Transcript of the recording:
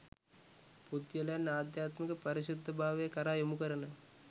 පුද්ගලයන් අධ්‍යාත්මික පාරිශුද්ධ භාවය කරා යොමුකරන